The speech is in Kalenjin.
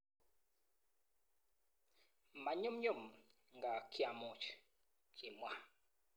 Ma nyumnyum ngaa kiamuch,"kimwa